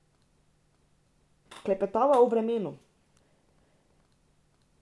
Klepetava o vremenu.